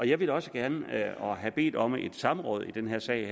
jeg ville også gerne have bedt om et samråd i den her sag